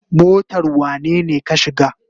Motar wanene ka shiga?